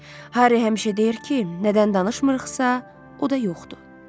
Harri həmişə deyir ki, nədən danışmırıqsa, o da yoxdur.